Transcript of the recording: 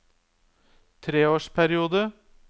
treårsperiode